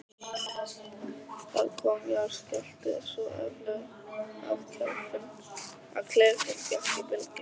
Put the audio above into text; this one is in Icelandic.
Það kom jarðskjálfti, svo öflugur að klefinn gekk í bylgjum.